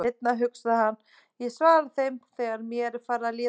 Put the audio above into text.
Seinna, hugsaði hann, ég svara þeim þegar mér er farið að líða betur.